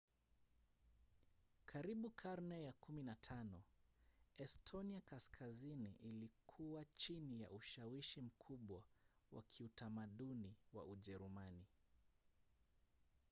karibu karne ya 15 estonia kaskazini ilikuwa chini ya ushawishi mkubwa wa kiutamaduni wa ujerumani